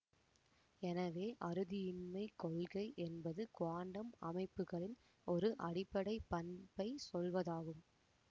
எனவே அறுதியின்மைக் கொள்கை என்பது குவாண்டம் அமைப்புகளின் ஒரு அடிப்படை பண்பைச் சொல்வதாகும்